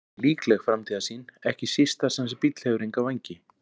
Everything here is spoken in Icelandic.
Þetta er ekki líkleg framtíðarsýn, ekki síst þar sem þessi bíll hefur enga vængi.